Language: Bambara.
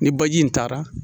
Ni baji in taara